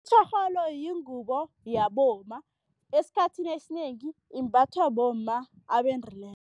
Itjorholo yingubo yabomma, esikhathini esinengi imbathwa bomma abendileko.